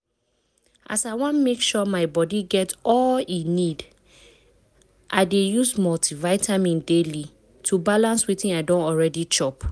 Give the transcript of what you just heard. as i wan make sure my body get all e need i dey use multivitamin daily to balance wetin i don already chop